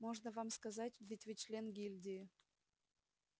можно вам сказать ведь вы член гильдии